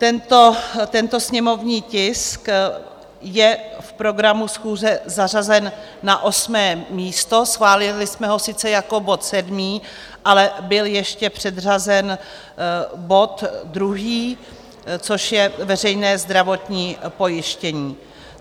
Tento sněmovní tisk je v programu schůze zařazen na osmé místo, schválili jsme ho sice jako bod sedmý, ale byl ještě předřazen bod druhý, což je veřejné zdravotní pojištění.